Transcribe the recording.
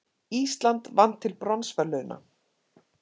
Ísland vann til bronsverðlauna